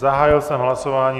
Zahájil jsem hlasování.